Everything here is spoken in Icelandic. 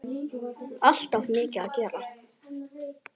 Alltaf mikið að gera.